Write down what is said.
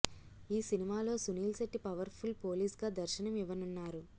ఈ సినిమాలో Sunil Shetty powerful పోలీస్గా దర్శనం ఇవ్వనున్నారు